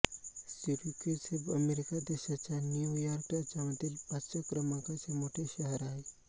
Syracuse हे America देशाच्या New York राज्यामधील पाचव्या क्रमांकाचे मोठे शहर आहे